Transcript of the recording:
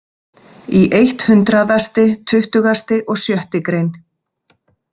Í eitt hundraðasti tuttugasti og sjötti grein.